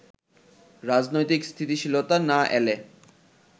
রাজনৈতিক স্থিতিশীলতা না এলে